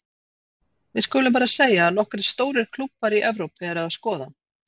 Við skulum bara að segja að nokkrir stórir klúbbar í Evrópu eru að skoða hann.